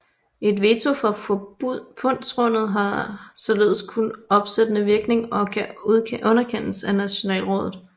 Et veto fra Forbundsrådet har således kun opsættende virkning og kan underkendes af Nationalrådet